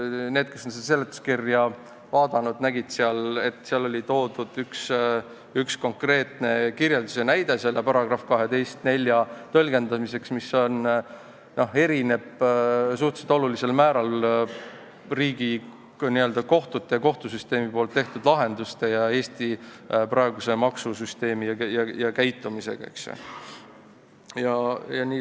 Need, kes seletuskirja vaatasid, nägid, et seal oli toodud üks konkreetne kirjeldus ja näide selle § 12 lõike 4 tõlgendamiseks, mis erineb üsna suurel määral riigi kohtute ja kohtusüsteemi tehtud lahendustest ning Eesti praegusest maksusüsteemist.